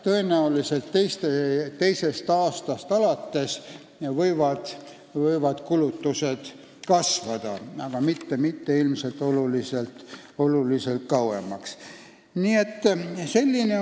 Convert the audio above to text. Tõenäoliselt teisest aastast alates võivad kulutused kasvada.